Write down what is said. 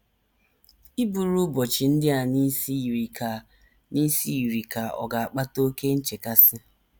Iburu ụbọchị ndị a n’isi yiri ka n’isi yiri ka ọ̀ ga - akpata oké nchekasị.